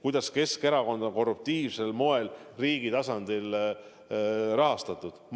Kuidas Keskerakonda on korruptiivsel moel riigi tasandil rahastatud?